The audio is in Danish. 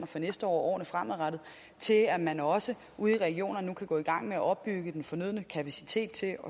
for næste år og årene fremadrettet til at man nu også ude i regionerne kan gå i gang med at opbygge den fornødne kapacitet til at